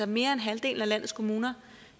mere end halvdelen af landets kommuner